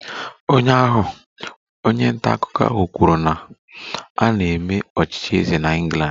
Ụnyaahụ, onye nta akụkọ ahụ kwuru na a na-eme ọchịchị eze na England